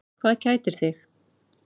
Hvað kætir þig?